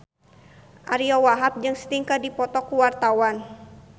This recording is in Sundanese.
Ariyo Wahab jeung Sting keur dipoto ku wartawan